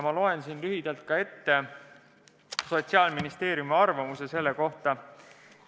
Ma loen siin lühidalt ette ka Sotsiaalministeeriumi arvamuse selle kohta.